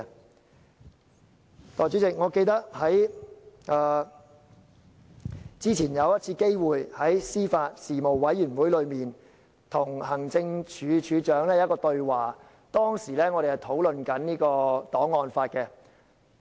代理主席，我記得之前曾在司法及法律事務委員會，與行政署署長對話，當時我們在討論檔案法。